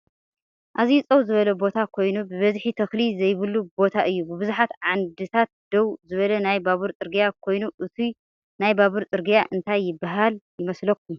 ኣዝዩ ፀው ዝበለ ቦታ ኮይኑ ብበዝሒ ተክሊ ዘይብሉ ቦታ እዩ። ብብዙሓት ዓንድታት ደው ዝበለ ናይ ባቡር ፅርግያ ኮይኑ እቱይ ናይ ባቡር ፅርግያ እንታይ ይብሃል ይመስለኩም?